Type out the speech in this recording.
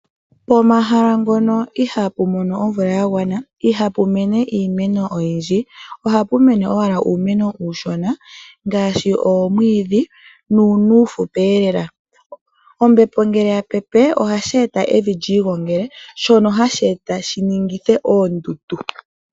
Pomahala mpoka ihapu mono omvula ya gwana ihapu mene iimeno oyindji. Ohapu mene owala uuneno uushona ngaashi omwiidhi nuuno uufupi. Ombepo ngele tayi pepe ohayi e titha evi lyi gongale shoka hashi e titha pu ninge oondundu.